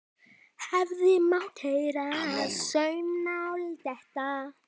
Hefði mátt heyra saumnál detta.